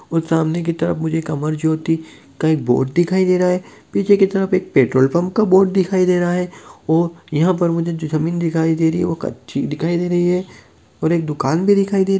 और सामने की तरफ मुझे एक अमर ज्योति का एक बोर्ड दिखाई दे रहा है पीछे की तरफ एक पेट्रोल पंप का बोर्ड दिखाई दे रहा है और यहां पर मुझे जो जमीन दिखाई दे रही है वो कच्ची दिखाई दे रही है और एक दुकान भी दिखाई दे --